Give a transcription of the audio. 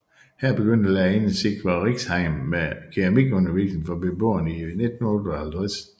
Her begyndte lærerinden Sigvor Riksheim med keramikundervisning for beboerne i 1958